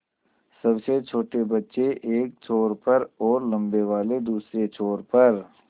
सबसे छोटे बच्चे एक छोर पर और लम्बे वाले दूसरे छोर पर